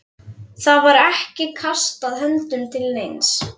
Það var ekki kastað höndum til neins.